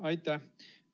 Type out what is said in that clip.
Aitäh!